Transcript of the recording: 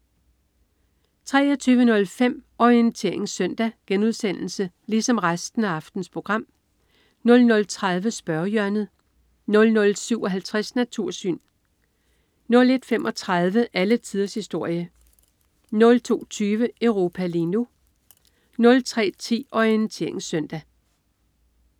23.05 Orientering Søndag* 00.30 Spørgehjørnet* 00.57 Natursyn* 01.35 Alle tiders historie* 02.20 Europa lige nu* 03.10 Orientering Søndag*